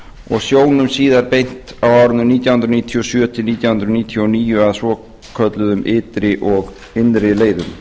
og sjónum síðan beint á árinu nítján hundruð níutíu og sjö til nítján hundruð níutíu og níu að svokölluðum ytri og innri leiðum